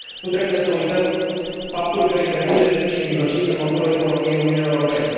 Nu trebuie să uităm faptul că întreprinderile mici și mijlocii sunt motorul economiei Uniunii Europene.